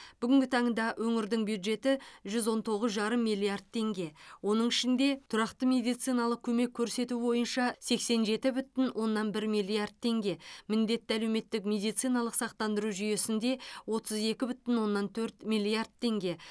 бүгінгі таңда өңірдің бюджеті жүз он тоғыз жарым миллиард теңге оның ішінде тұрақты медициналық көмек көрсету бойынша сексен жеті бүтін оннан бір миллиард теңге міндетті әлеуметтік медициналық сақтандыру жүйесінде отыз екі бүтін оннан төрт миллиард теңге